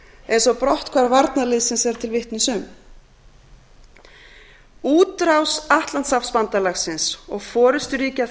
eins og brotthvarf varnarliðsins er til vitnis um útrás atlantshafsbandalagsins og forusturíkja